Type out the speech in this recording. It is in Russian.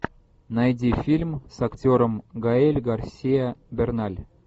найди фильм с актером гаэль гарсия берналь